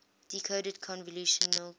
decoded convolutional codes